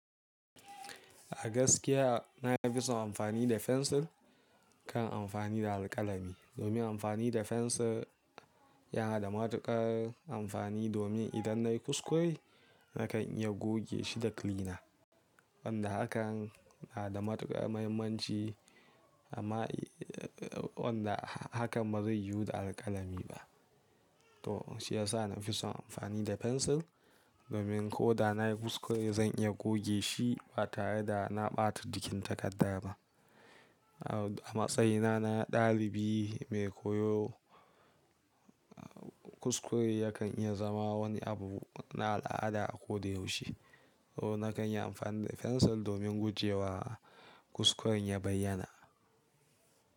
A gaskiya na fi son amfani da fensir kan amfani da alƙalami. Domin amfani da fensir yana da matuƙar amfani domin idan nayi kuskure nakan iya goge shi da kilina. Wanda hakan na da matuƙar mahimmanci amma wanda hakan ba zai yiwu da alƙalami ba. To shi ya sa na fi son amfani da fensir domin ko da na yi kuskure zan iya goge shi ba tare da na ɓata jikin takarda ba. A matsayina na ɗalibi mai koyo, kuskure yakan iya zama wani abu na al'ada a ko da yaushe, so nakan yi amfani da fensil domin gujewa kuskuren ya bayyana.